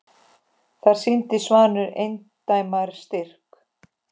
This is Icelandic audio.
Þar sýndi Svanur eindæma styrk.